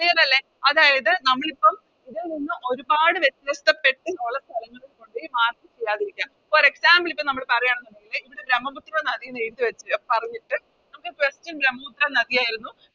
Clear അല്ലെ അതായത് നമ്മളിപ്പോ ഇതിൽ നിന്നും ഒരുപാട് വെത്യാസ്ഥപ്പെട്ട് ഒള്ള സ്ഥലങ്ങളിൽ കൊണ്ടോയി Mark ചെയ്യാതിരിക്ക For example ഇപ്പൊ നമ്മള് പറയാണെന്നിങ്കില് ഇതില് ബ്രമ്മപുത്ര നദിയെന്ന് എഴുതി വെച്ച് പറഞ്ഞിട്ട് നമുക്ക് Question ബ്രമ്മപുത്ര നദിയായിരുന്നു